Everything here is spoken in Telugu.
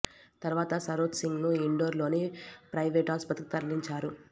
తరువాత సరోజ్ సింగ్ ను ఇండోర్ లోని ప్రయివేటు ఆసుపత్రికి తరలించారు